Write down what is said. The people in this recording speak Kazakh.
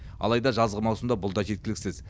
алайда жазғы маусымда бұл да жеткіліксіз